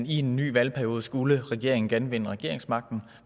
i en ny valgperiode skulle regeringen genvinde regeringsmagten